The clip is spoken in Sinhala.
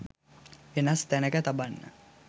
වෙනස් තැනක තබන්න